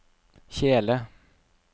kjele